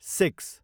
six